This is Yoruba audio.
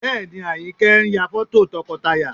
Bẹ́ẹ̀ ni, Àyìnkẹ́ ń ya fọ́tò tọkọtaya